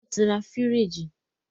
wọ́n ti ra fìríìjì.